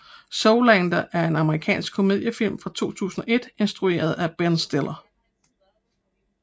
Zoolander er en amerikansk komediefilm fra 2001 instrueret af Ben Stiller